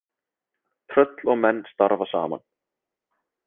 Tröll og menn starfa saman.